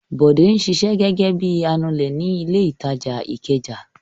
Bọ̀dé ń ṣiṣẹ́ gẹ́gẹ́ bí i anulẹ̀ ní ilé-ìtajà Ìkẹjà.